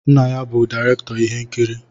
Nna ya bụ direktọr ihe nkiri.